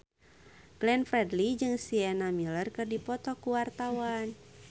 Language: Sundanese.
Glenn Fredly jeung Sienna Miller keur dipoto ku wartawan